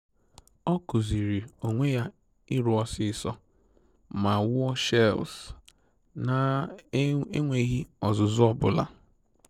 Ọ kụziiri onwe ya ịrụ osisi ma wuo shelves na-enweghị ọzụzụ ọ bụla